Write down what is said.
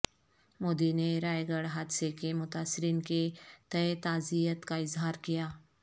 مودی نے رائے گڑھ حادثے کے متاثرین کے تئیں تعزیت کا اظہار کیا